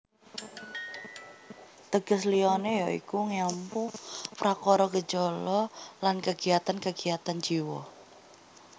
Teges liyané ya iku ngèlmu prakara gejala lan kagiatan kagiatan jiwa